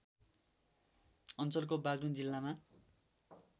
अञ्चलको बागलुङ जिल्लामा